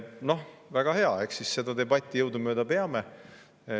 Noh, väga hea, eks me siis seda debatti jõudumööda peame.